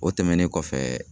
O tɛmɛnen kɔfɛ